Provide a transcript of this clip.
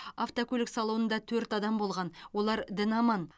автокөлік салонында төрт адам болған олар дін аман